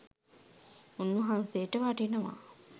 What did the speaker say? උන් වහන්සේට වටිනවා